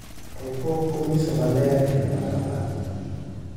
To pok onyiso maler geno ma kamano,